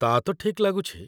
ତା'ତ ଠିକ୍ ଲାଗୁଛି ।